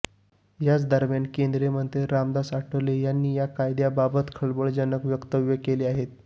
याच दरम्यान केंद्रीय मंत्री रामदास आठवले यांनी या कायद्याबाबत खळबळजनक वक्त्यव्य केले आहे